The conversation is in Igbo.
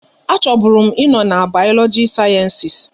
A chọbụrụ m ị nọ n'Bayologikal sayensịs